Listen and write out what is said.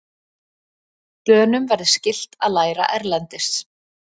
Dönum verði skylt að læra erlendis